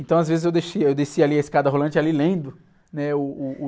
Então às vezes eu descia ali a escada rolante ali lendo, né? O, uh, uh...